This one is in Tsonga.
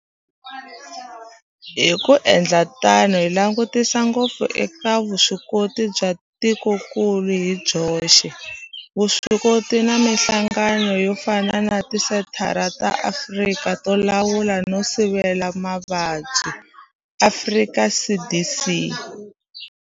Hi ku endla tano hi langutisa ngopfu eka vuswikoti bya tikokulu hi byoxe, vuswikoti na mihlangano yo fana na Tisenthara ta Afrika to Lawula no Sivela Mavabyi, Afrika CDC.